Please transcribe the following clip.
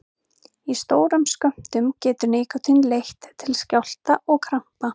Í stórum skömmtum getur nikótín leitt til skjálfta og krampa.